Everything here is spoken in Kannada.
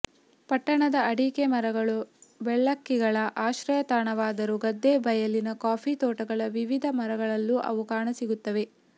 ಪಟ್ಟಣದ ಅಡಿಕೆ ಮರಗಳು ಬೆಳ್ಳಕ್ಕಿಗಳ ಆಶ್ರಯ ತಾಣವಾದರೂ ಗದ್ದೆ ಬಯಲಿನ ಕಾಫಿ ತೋಟಗಳ ವಿವಿಧ ಮರಗಳಲ್ಲೂ ಅವು ಕಾಣಸಿಗುತ್ತವೆ